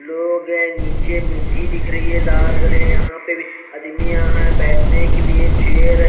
लोग है निचे मिट्टी दिख रही है लाल क्ले आदमी यहा बेठने के लिए चेयर --